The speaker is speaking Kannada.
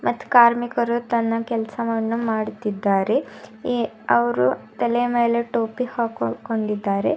ಮತ್ತ ಕಾರ್ಮಿಕರು ತನ್ನ ಕೆಲಸವನ್ನ ಮಾಡುತ್ತಿದ್ದಾರೆ ಈ ಅವ್ರು ತಲೆ ಮೇಲೆ ಟೋಪಿ ಹಾಕೋಕೊಂಡಿದ್ದಾರೆ.